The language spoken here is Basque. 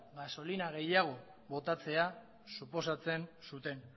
gasolina gehiago botatzea suposatzen zuten